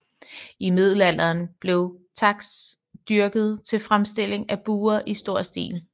I middelalderen blev taks dyrket til fremstilling af buer i stor stil